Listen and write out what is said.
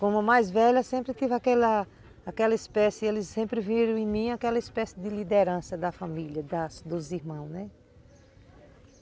Como mais velha, sempre tive aquela aquela espécie, eles sempre viram em mim aquela espécie de liderança da família, da dos irmãos, né?